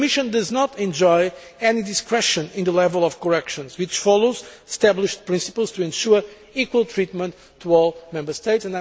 The Commission does not enjoy any discretion in the level of corrections, which follows established principles to ensure equal treatment to all Member States.